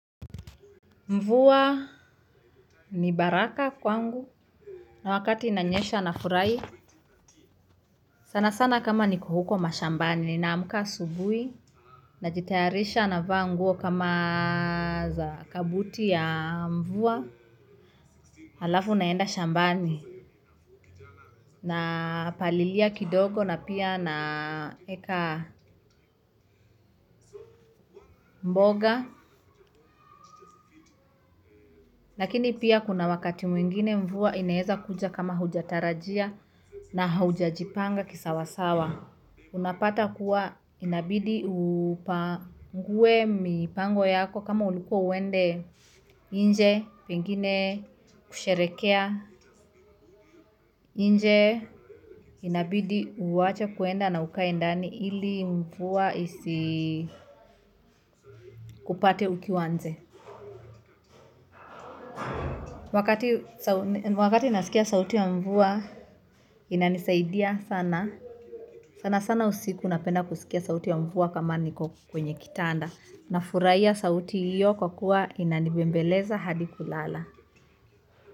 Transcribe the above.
Mvua ni baraka kwangu na wakati inanyesha nafurahi sana sana kama niko huko mashambani nina amka asubuhi najitayarisha na vaa nguo kama za kabuti ya mvua. Alafu naenda shambani, napalilia kidogo na pia naeka mboga. Lakini pia kuna wakati mwingine mvua inaeza kuja kama hujatarajia na haujajipanga ki sawasawa. Unapata kuwa inabidi upangue mipango yako kama ulikua uende nje pengine kusherekea. Nje inabidi uwache kuenda na ukae ndani ili mvua isi kupate ukiwa nje. Wakati nasikia sauti ya mvua, inanisaidia sana. Sana sana usiku napenda kusikia sauti ya mvua kama niko kwenye kitanda. Na furahia sauti iyo kwa kuwa inanibembeleza hadi kulala.